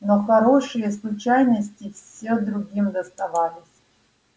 но хорошие случайности все другим доставались